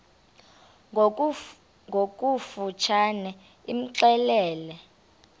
ngokofu tshane imxelele